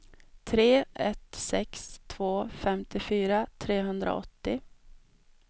tre ett sex två femtiofyra trehundraåttio